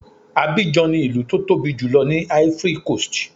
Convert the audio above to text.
Abidjan ni ìlú tó tóbi jùlọ ní Ivory coast.